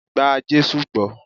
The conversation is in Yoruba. Gba Jésù gbó!